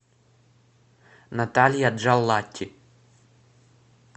наталья джаллати